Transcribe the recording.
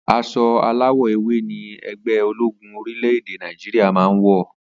As̩o aláwò̩ ewé ni e̩gbé̩ ológún orílè̩-èdè Nàìjíríà máa ń wò̩